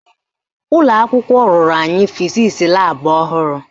Ụlọakwụkwọ rụrụ anyị fizisi laabụ ọhụrụ